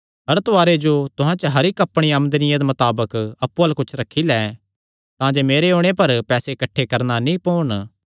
हर तवाआरे जो तुहां च हर इक्क अपणिया आमदनिया मताबक अप्पु अल्ल कुच्छ रखी लैं तांजे मेरे ओणे पर पैसे किठ्ठे नीं करणा पोन